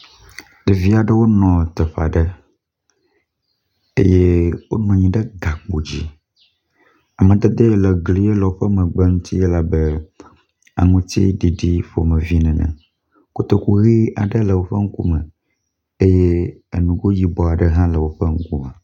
Ɖevi aɖewo nɔ teƒea ɖe eye wonɔ anyi ɖe gakpo dzi. Amadede yi ke le gli ele woƒe megbe ŋuti ele abe aŋutiɖiɖi ƒomevi ene. Kotoku ʋi aɖe le woƒe ŋkume eye enugo yibɔ aɖe hã le woƒe ŋkume.